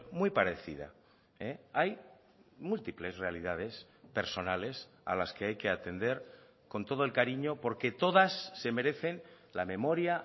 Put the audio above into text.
muy parecida hay múltiples realidades personales a las que hay que atender con todo el cariño porque todas se merecen la memoria